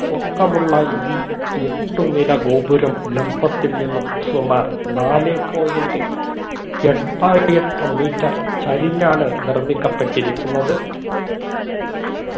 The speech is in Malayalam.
പൊക്കമുള്ള ഈ എട്ടുനില ഗോപുരം ലംബത്തിൽ നിന്നും സുമാർ നാലേ point ഏട്ടാ എട്ട് metre ചരിഞ്ഞാണ് നിർമ്മിക്കപ്പെട്ടിരിക്കുന്നത്